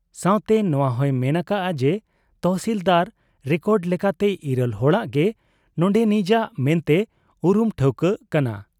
ᱥᱟᱶᱛᱮ ᱱᱚᱶᱟᱦᱚᱸᱭ ᱢᱮᱱ ᱟᱠᱟᱜ ᱟ ᱡᱮ ᱛᱚᱦᱥᱤᱞᱫᱟᱨ ᱨᱮᱠᱚᱰ ᱞᱮᱠᱟᱛᱮ ᱤᱨᱟᱹᱞ ᱦᱚᱲᱟᱜ ᱜᱮ ᱱᱚᱱᱰᱮᱱᱤᱡᱟᱜ ᱢᱮᱱᱛᱮ ᱩᱨᱩᱢ ᱴᱷᱟᱹᱣᱠᱟᱹᱜ ᱠᱟᱱᱟ ᱾